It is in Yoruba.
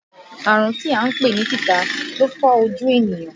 Àrùn tí à ń pè ní tìta lè fọ́ ojú ènìyàn